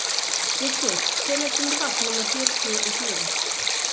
Gissur, hvenær kemur vagn númer fjörutíu og fjögur?